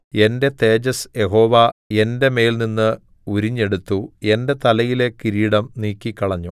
എന്റെ തേജസ്സ് യഹോവ എന്റെ മേൽനിന്ന് ഉരിഞ്ഞെടുത്തു എന്റെ തലയിലെ കിരീടം നീക്കിക്കളഞ്ഞു